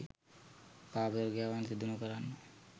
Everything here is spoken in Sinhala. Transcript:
පාපතර ක්‍රියාවන් සිදු නොකරන්න